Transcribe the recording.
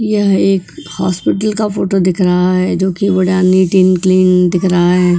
यह एक हॉस्पिटल का फोटो दिख रहा है जो कि नीट एंड क्लीन दिख रहा है।